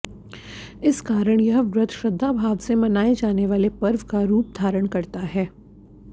इस कारण यह व्रत श्रद्धाभाव से मनाए जाने वाले पर्व का रूप धारण करता है